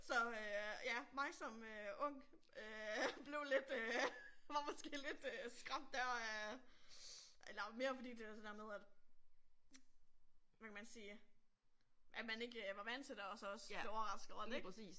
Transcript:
Så øh ja mig som øh ung øh blev lidt øh var måske lidt øh skræmt der af eller mere fordi det var det der med at hvad kan man sige at man ikke var vant til det og så også blev overrasket over det ik